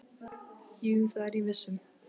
Jú, það er ég viss um.